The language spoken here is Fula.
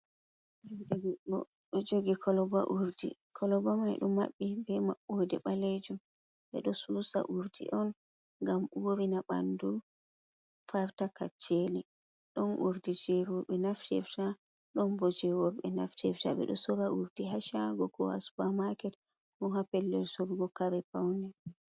Jude goddo do jogi koloba urdi, koloba mai du mabbi be mabbode balejum be do susa urdi on gam urina bandu farta kaccheli, don urdi jeri worbe naftrita don boje robe naftirta be do sora urdi ha shago ko supa market ko ha pellel sorugo kare paune.